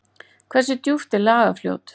Hversu djúpt er Lagarfljót?